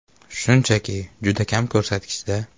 Shunchaki, juda kam ko‘rsatkichda.